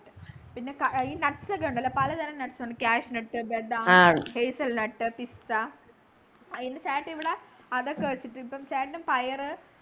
പിന്നെ ക ഈ nuts ഒക്കെ ഉണ്ടല്ലോ പലതരം nuts ഉണ്ട് cashew nuts ബദാം hasel nut pista എൻ്റെ ചേട്ടനിവിടെ അതൊക്കെ വച്ചിട്ട് ചേട്ടനും പയറ്